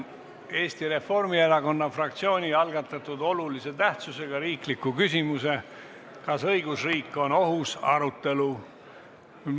Eesti Reformierakonna fraktsiooni algatatud olulise tähtsusega riikliku küsimuse "Kas õigusriik on ohus?" arutelu.